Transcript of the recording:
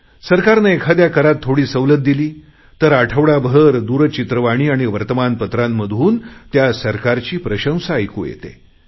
सरकारने एखाद्या करात थोडी सवलत दिली तर आठवडाभर दूरचित्रवाणी आणि वर्तमानपत्रातून त्या सरकारची प्रशंसा ऐकू येते